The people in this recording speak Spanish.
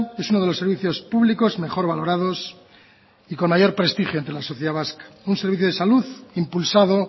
es uno de los servicios públicos mejor valorados y con mayor prestigio entre la sociedad vasca un servicio de salud impulsado